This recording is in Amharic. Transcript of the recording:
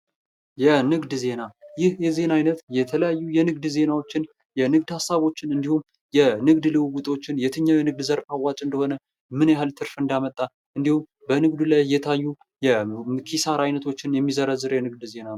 የንግድ ዜና ይህ የዜና አይነት የተለያዩ የንግድ ዜናዎችን የንግድ ሀሳቦችን እንዲሁም የንግድ ልውውጦችን የትኛው የንግድ ዘርፍ አዋጭ እንደሆነ ምን ያህል ትርፍ እንዳመጣ እንዲሁም በንግዱ ላይ የታዩ የኪሳራ አድነቶችን የሚዘረዝር የንግድ ዜና ነው ።